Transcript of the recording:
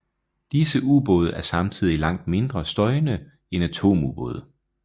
Disse ubåde er samtidig langt mindre støjende end atomubåde